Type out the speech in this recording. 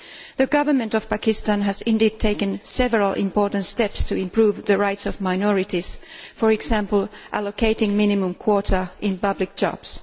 The government of Pakistan has indeed taken several important steps to improve the rights of minorities, for example, by allocating a minimum quota in public jobs.